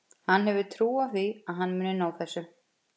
Hann hefur trú á því að hann muni ná þessu.